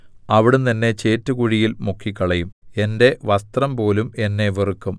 അവിടുന്ന് എന്നെ ചേറ്റുകുഴിയിൽ മുക്കിക്കളയും എന്റെ വസ്ത്രംപോലും എന്നെ വെറുക്കും